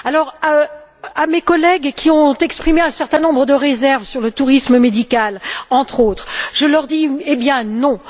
Alors, à mes collègues qui ont exprimé un certain nombre de réserves sur le tourisme médical, entre autres, je dis Eh bien, non!